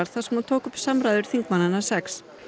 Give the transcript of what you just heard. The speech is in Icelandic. þar sem hún tók upp samræður þingmannanna sex